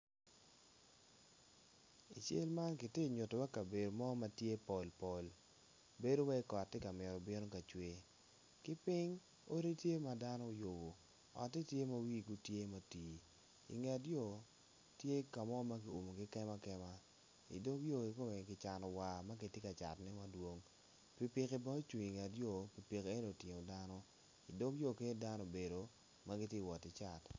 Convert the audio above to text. I cal ma kitye ka nyutiwa kabedo ma obedo pol pol bedo iwaci kot tye ka bino ka mito cwe ki piny odi tye ma dano guyubo otet tye ma wigi otii i nget yo tye ka mo ma kiyubo i kemakema i dog yo ki cano war ma kitye ka catone pikipiki nenoni otingo dano. I dog yo dano gubedo kun giwoto ki cat.